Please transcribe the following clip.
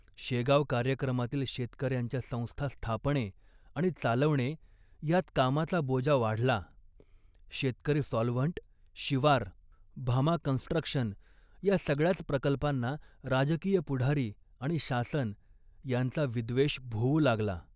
शेगाव कार्यक्रमातील शेतकऱ्यांच्या संस्था स्थापणे आणि चालवणे यात कामाचा बोजा वाढला. शेतकरी सॉल्व्हंट, शिवार, भामा कन्स्ट्रक्शन या सगळ्याच प्रकल्पांना राजकीय पुढारी आणि शासन यांचा विद्वेष भोवू लागला